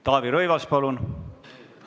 Taavi Rõivas, palun!